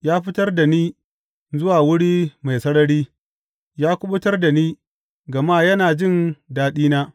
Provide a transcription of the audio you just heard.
Ya fitar da ni zuwa wuri mai sarari; ya kuɓutar da ni, gama yana jin daɗina.